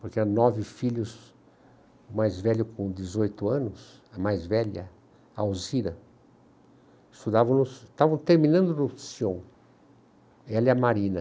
porque eram nove filhos, o mais velho com dezoito anos, a mais velha, a Alzira, estudava, estavam terminando no Sion, ela e a Marina.